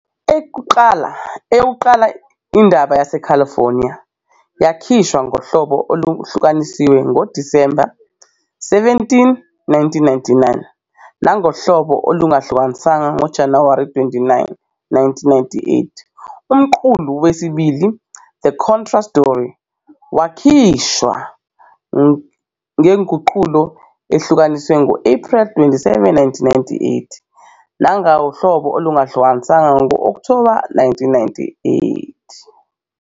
Eyokuqala, "Indaba yaseCalifornia," yakhishwa ngohlobo olwahlukaniswa ngoDisemba 17, 1997, nangohlobo olungahlukaniswanga ngoJanuwari 29, 1998. Umqulu wesibili, "The Contra Story," wakhishwa ngenguqulo ehlukanisiwe ngo-Ephreli 27, 1998, nangohlobo olungahlukaniswanga ngo-Okthoba 8, 1998.